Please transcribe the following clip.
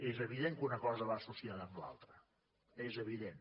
és evident que una cosa va associada amb l’altra és evident